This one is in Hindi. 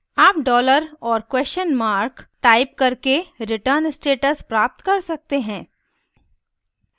* आप dollar और question mark $ टाइप करके return status प्राप्त कर सकते हैं